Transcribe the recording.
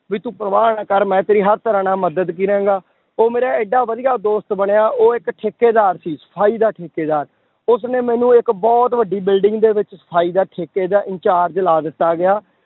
ਵੀ ਤੂੰ ਪਰਵਾਹ ਨਾ ਕਰ ਮੈਂ ਤੇਰੀ ਹਰ ਤਰ੍ਹਾਂ ਨਾਲ ਮਦਦ ਕਰਾਂਗਾ, ਉਹ ਮੇਰਾ ਇੱਡਾ ਵਧੀਆ ਦੋਸਤ ਬਣਿਆ ਉਹ ਇੱਕ ਠੇਕੇਦਾਰ ਸੀ, ਸਫ਼ਾਈ ਦਾ ਠੇਕੇਦਾਰ, ਉਸਨੇ ਮੈਨੂੰ ਇੱਕ ਬਹੁਤ ਵੱਡੀ building ਦੇ ਵਿੱਚ ਸਫ਼ਾਈ ਦਾ ਠੇਕੇ ਦਾ incharge ਲਾ ਦਿੱਤਾ ਗਿਆ